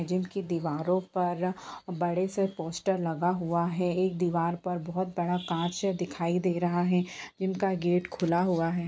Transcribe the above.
दीवारो पर बड़े से पोस्टर लगा हुआ है एक दीवार पर बहुत बड़ा काँच दिखाई दे रहा है इनका गेट खुला हुआ है।